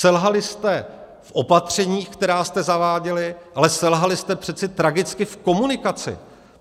Selhali jste v opatřeních, která jste zaváděli, ale selhali jste přece tragicky v komunikaci.